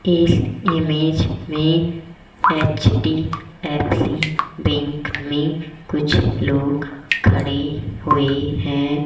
इस इमेज में HDFC bank में कुछ लोग खड़े हुए हैं।